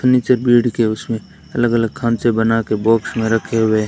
furniture bed के उसमे अलग अलग खांचे बना कर बॉक्स में रखे हुए--